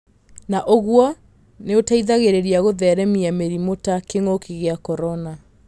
Na ũguo nĩũteithagĩrĩria gũtheremia mĩrimũ ta kĩng'ũki gĩa korona.